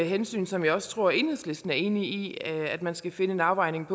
hensyn som jeg også tror at enhedslisten er enig i at man skal finde en afvejning